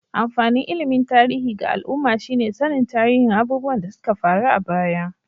Amfanin ilimin tarihi ga al'umma shi ne sannin tarihin abubuwan da suka faru a baya.